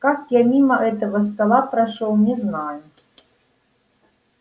как я мимо этого стола прошёл не знаю